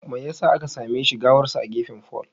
Me yasa aka same shi gawarsa a gefen fol?